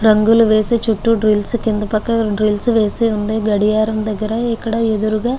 రంగుల్లు వేసి చుట్టూ ద్రిల్ల్స్ పక్కన ద్రిల్ల్స్ వేసి గడియారం దగ్గర ఎదురుగా ఇక్కడ --